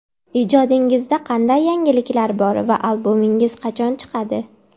Ijodingizda qanday yangiliklar bor va albomingiz qachon chiqadi?